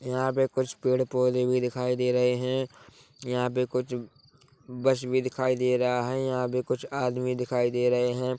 यहाँ पे कुछ पेड़-पोधे भी दिखाई दे रहे है यहाँ पे कुछ बस भी दिखाई दे रहा है यहाँ पे कुछ आदमी दिखाई दे रहे है।